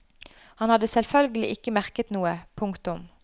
Han hadde selvfølgelig ikke merket noe. punktum